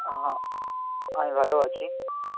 অ্যাঁ, আমি ভালো আছি.